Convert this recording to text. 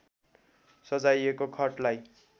सजाइएको खटलाई